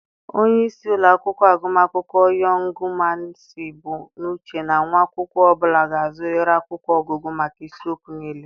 Onye isi ụlọ akwụkwọ agụmakwụkwọ Yọngụụ Mainsii bụ n'uche na nwa akwụkwọ ọ bụla ga-azụrịrị akwụkwọ ọgụgụ maka isiokwu niile.